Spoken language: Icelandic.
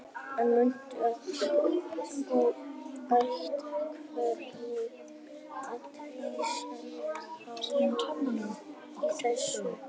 En mundu það að þú átt hvergi á vísan að róa í þessu.